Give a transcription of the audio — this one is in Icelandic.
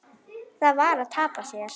Það var að tapa sér.